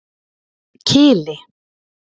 Kili